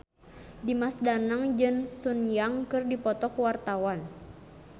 Dimas Danang jeung Sun Yang keur dipoto ku wartawan